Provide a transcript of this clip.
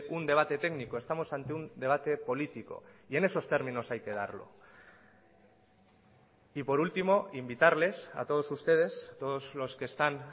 un debate técnico estamos ante un debate político y en esos términos hay que darlo y por último invitarles a todos ustedes todos los que están